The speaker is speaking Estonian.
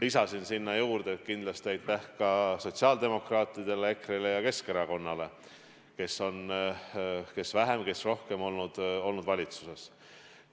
Lisasin sinna juurde, et kindlasti aitäh ka sotsiaaldemokraatidele, EKRE-le ja Keskerakonnale, kes on – kes vähem, kes rohkem – samuti valitsuses olnud.